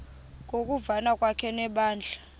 ngokuvana kwakhe nebandla